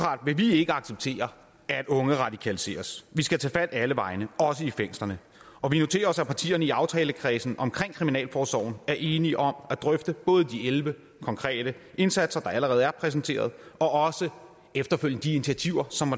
ikke acceptere at unge radikaliseres vi skal tage fat alle vegne også i fængslerne og vi noterer os at partierne i aftalekredsen omkring kriminalforsorgen er enige om at drøfte både de elleve konkrete indsatser der allerede er præsenteret og også efterfølgende de initiativer som